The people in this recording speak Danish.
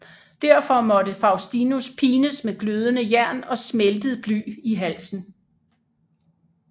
Derfor måtte Faustinus pines med glødende jern og smeltet bly i halsen